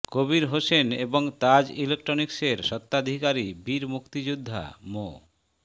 কবীর হোসেন এবং তাজ ইলেকট্রনিক্সের স্বত্বাধিকারী বীর মুক্তিযোদ্ধা মো